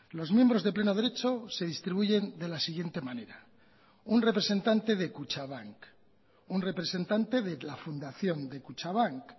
los miembros de pleno derecho se distribuyen de la siguiente manera un representante de kutxabank un representante de la fundación de kutxabank